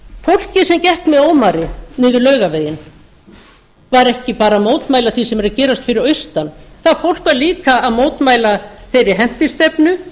fólkið sem gekk með ómari niður laugaveginn var ekki bara að mótmæla því sem er að gerast fyrir austan það fólk var líka að mótmæla þeirri hentistefnu